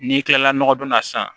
N'i kilala nɔgɔdon na sisan